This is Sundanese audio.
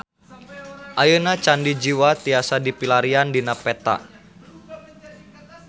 Ayeuna Candi Jiwa tiasa dipilarian dina peta